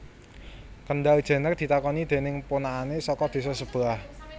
Kendall Jenner ditakoni dening ponakane saka desa sebelah